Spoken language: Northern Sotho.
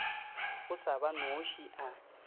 o sa ba noše a